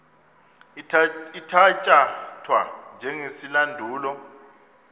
ithatya thwa njengesilandulo